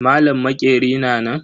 Malam maƙeri na nan?